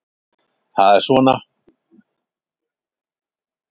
Það er svona.